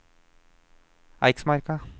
Eiksmarka